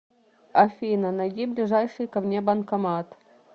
афина найди ближайший ко мне банкомат